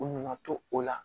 U nana to o la